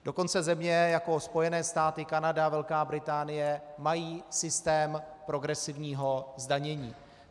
Dokonce země jako Spojené státy, Kanada, Velká Británie mají systém progresivního zdanění.